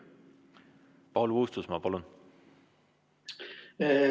Paul Puustusmaa, palun!